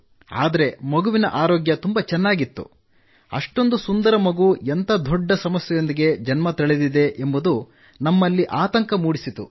ಆದರೆ ಮಗುವಿನ ಆರೋಗ್ಯ ತುಂಬಾ ಚೆನ್ನಾಗಿತ್ತು ಎಷ್ಟೊಂದು ಸುಂದರ ಮಗು ಎಂಥ ದೊಡ್ಡ ಸಮಸ್ಯೆಯೊಂದಿಗೆ ಜನ್ಮ ತಳೆದಿದೆ ಎಂಬುದು ನಮ್ಮಲ್ಲಿ ಆತಂಕ ಮೂಡಿಸಿತು